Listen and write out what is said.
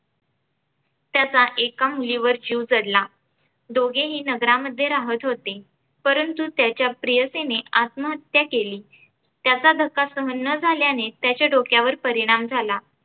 त्याचा एका मुलीवर जीव जडला. दोघेही नगरामध्ये राहत होते, परंतु त्याच्या प्रेयसीने आत्महत्या केली. त्याचा धक्का सहन न झाल्याने त्याच्या डोक्यावर परिणाम झाला.